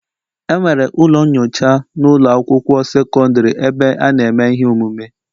Enwere ụlọ nyocha na ụlọ akwụkwọ sekọndrị ebe a na-eme ihe omume